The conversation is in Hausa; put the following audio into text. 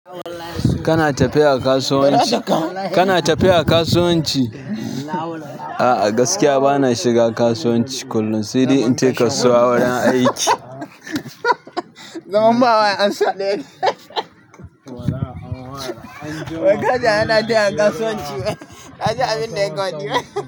Kana tafiya kasuwanci? Kana tafiya kasuwanci? A'a gaskiya bana shiga kasuwanci kullum. Sede in tafi kasuwa wajen aiki. Zamu bawa ansa ɗaya, wai kaji ana tafiya kasuwanci wai. Ka ji abinda ya ka hwadi.